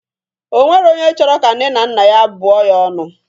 O nwero onye chọrọ ka nne na nna ya bụọ ya ọnụ.